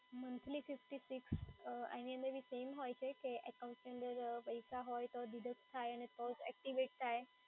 Monthly fifty six આની અંદર બી same હોય છે કે એકાઉન્ટની અંદર પૈસા હોય તો deduct થાય અને તો જ એક્ટિવેટ થાય?